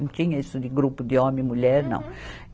Não tinha isso de grupo de homem e mulher, não.